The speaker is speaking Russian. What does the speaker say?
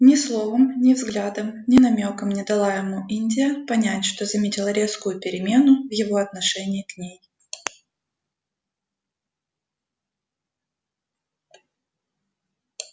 ни словом ни взглядом ни намёком не дала ему индия понять что заметила резкую перемену в его отношении к ней